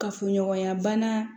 Kafoɲɔgɔnya bana